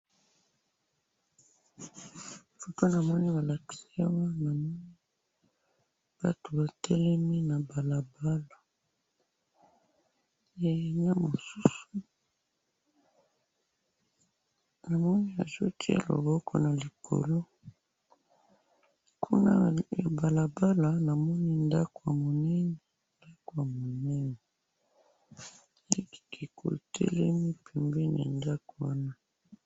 Foto namoni balakisi awa, namoni batu batelemi na balabala, eh! Na mosusu namoni azo tiya loboko nalikolo, kuna ya balabala namoni ndako yamunene, ndako ya munene, ekeko etelemi pembeni ya ndako wana.